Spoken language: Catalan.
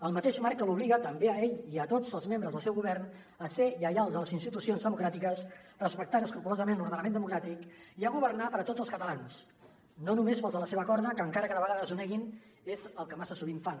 el mateix marc que l’obliga també a ell i a tots els membres del seu govern a ser lleials a les institucions democràtiques respectant escrupolosament l’ordenament democràtic i a governar per a tots els catalans no només per als de la seva corda que encara que de vegades ho neguin és el que massa sovint fan